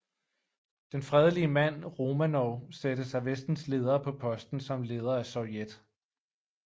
Den fredelige mand Romanov sættes af Vestens ledere på posten som leder af Sovjet